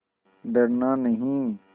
डरना नहीं